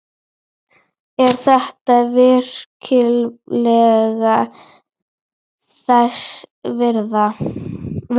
Er þetta virkilega þess virði?